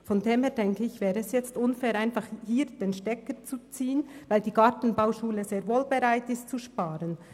Insofern wäre es unfair, einfach den Stecker zu ziehen, weil die Gartenbauschule sehr wohl bereit ist, zu sparen.